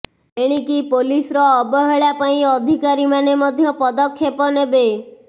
ଏଣିକି ପୋଲିସର ଅବହେଳା ପାଇଁ ଅଧିକାରୀମାନେ ମଧ୍ୟ ପଦକ୍ଷେପ ନେବେ